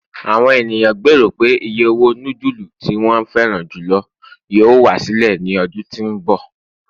àwọn ènìyàn gbero pe iye owó nudulu tí won feran julo yíò wá sílẹ̀ ní ọdún tí nbọ